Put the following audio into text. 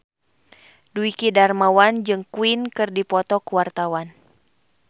Dwiki Darmawan jeung Queen keur dipoto ku wartawan